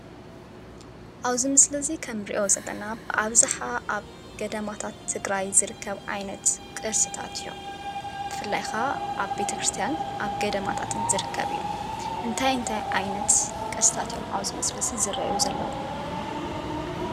ኣብዚ ምስሊ እዙይ ክም እንሪኦ ዘለና ኣብዛሓ ኣብ ገዳማታት ትግራይ ዝርከብ ዓይነት ቅርሲታት እዮም። ብፍላይ ካዓ ኣብ ቤተክርስትያንን ኣብ ገዳማታትን ዝርከብ እዩ። እንታይ እንታይ ዓይነት ቅርሲታት እዮም ኣብዚ ምስሊ እዙይ ዝረኣዩ ዘለው?